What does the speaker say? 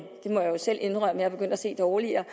selv indrømme er begyndt at se dårligere